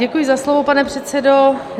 Děkuji za slovo, pane předsedo.